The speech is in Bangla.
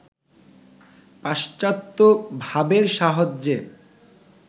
পাশ্চাত্ত্য ভাবের সাহায্যে